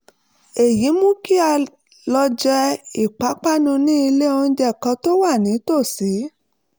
èyí mú kí a lọ jẹ ìpápánu ní ilé-oúnjẹ kan tó wà nítòsí